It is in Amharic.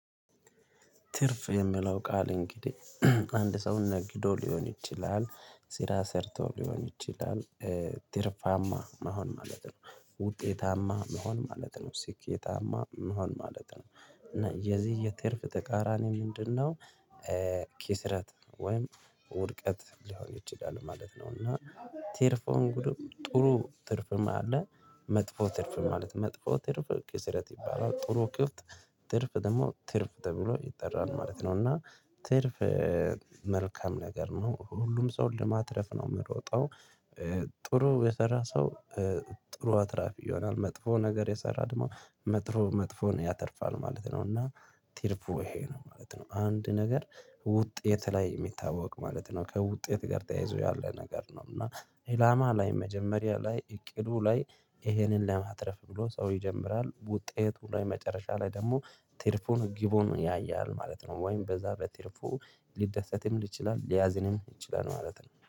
ትርፍ የሚለው ቃል እንግዲህ አንድ ሰው ነግዶ ሊሆን ይችላል ስራ ሰርቶ ሊሆን ይችላል። ትርፋማ መሆን ማለት ነው ውጤታማ መሆን ማለት ነው ሲኬታማ መሆን ማለት ነው እና የዚህ የትርፍ ተቃራኒ ምንድነው? ኪስረት ወይም ውድቀት ሊሆን ይችላል ማለት ነው። እና ትርፉ እንግድ ጥሩ ትርፍም አለ። መጥፎ ትርፍ ማለት መጥፎ ትርፍ ክስረት ይባላል ጥሩ። ትርፍ ደግሞ ትርፍ ተብሎ ይጠራል ማለት ነው። እና ትርፍ። መልካም ነገር ነው ሁሉም ሰው ለማትረፍ ነው የምሮጠው። ጥሩ የሰራ ሰው ጥሩ አትራፊ ይሆናል መጥፎ ነገር የሰራ ድግሞ መጥፎ መጥፎን ያተርፋል ማለት ነው። እና ትርፉ ይሄ ነው ማለት ነው። አንድ ነገር ውጤት ላይ የሚታወቅ ማለት ነው ከውጤት ጋር ተያይዞ ያለ ነገር ነው። እና ኢላማ ላይ መጀመሪያ ላይ እቅዱ ላይ ይሄንን ለማትረፍ ብሎ ሰው ይጀምራል ውጤት ላይ መጨረሻ ላይ ደግሞ ትርፉን ግቡን ያየሃል ማለት ነው። ወይም በዛ በትርፉ ሊደሰትም ይችላል ሊያዝንም ይችላል ማለት ነው